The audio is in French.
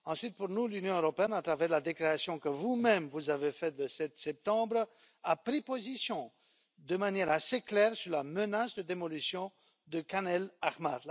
Ensuite, pour nous, l'Union européenne à travers la déclaration que vous même avez faite le 7 septembre a pris position de manière assez claire sur la menace de démolition de Khan el Ahmar.